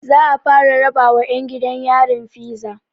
Za'a fara rabawa ƴan gidan yarin fiza